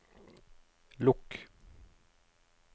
lukk